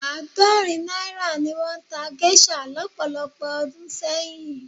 Àádọ́rin náírà ni wọ́n ta géṣà lọ́pọ̀lọpọ̀ ọdún sẹ́yìn.